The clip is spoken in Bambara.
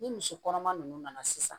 Ni misi kɔnɔma ninnu nana sisan